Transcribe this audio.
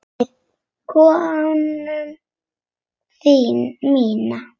Við konu mína.